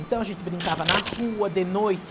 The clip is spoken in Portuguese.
Então a gente brincava na rua, de noite,